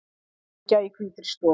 Hamingja í hvítri stofu